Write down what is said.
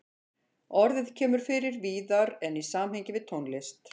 Orðið kemur fyrir víðar en í samhengi við tónlist.